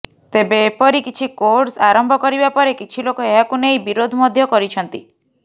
ତେବେ ଏପରି କିଛି କୋର୍ସ ଆରମ୍ଭ କରିବା ପରେ କିଛି ଲୋକ ଏହାକୁ ନେଇ ବିରୋଧ ମଧ୍ୟ କରିଛନ୍ତି